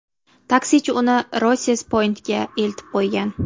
Taksichi uni Rosses-Poyntga eltib qo‘ygan.